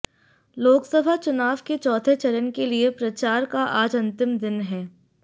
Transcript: लोकसभा चुनाव के चौथे चरण के लिए प्रचार का आज अंतिम दिन है